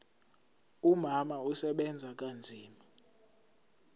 umama usebenza kanzima